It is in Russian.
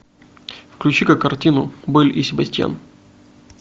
включи ка картину белль и себастьян